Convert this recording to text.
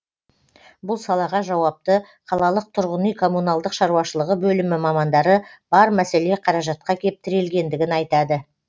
бұл салаға жауапты қалалық тұрғын үй коммуналдық шаруашылығы бөлімі мамандары бар мәселе қаражатқа кеп тірелгендігін айтады